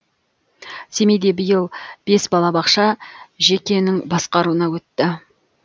семейде биыл бес балабақша жекенің басқаруына өтті